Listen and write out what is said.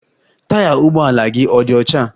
Taya ụgbọ ala gị ọ̀ dị ọcha?